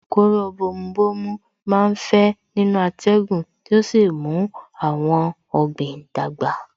Kóró bomu bomu má ń fẹ́ nínú atẹ́gùn tí ó sì ń mú àwọn ọ̀gbìn dàgbà